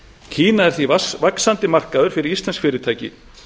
kína er því vaxandi markaður fyrir íslensk fyrirtæki